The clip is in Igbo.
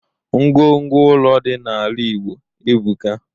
Ngwo ngwo ụlọ dị n'ala igbo ebuka.